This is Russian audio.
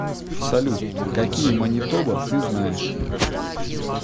салют какие манитоба ты знаешь